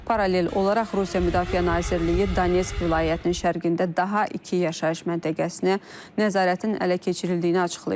Paralel olaraq Rusiya Müdafiə Nazirliyi Donetsk vilayətinin şərqində daha iki yaşayış məntəqəsinə nəzarətin ələ keçirildiyini açıqlayıb.